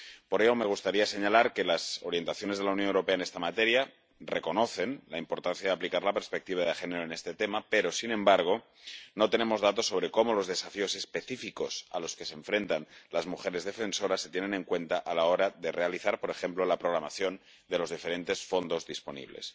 Por ello, me gustaría señalar que las orientaciones de la Unión Europea en esta materia reconocen la importancia de aplicar la perspectiva de género en este tema, pero, sin embargo, no tenemos datos sobre cómo los desafíos específicos a los que se enfrentan las mujeres defensoras se tienen en cuenta a la hora de realizar, por ejemplo, la programación de los diferentes fondos disponibles.